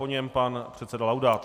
Po něm pan předseda Laudát.